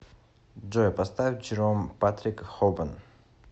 джой поставь джером патрик хобан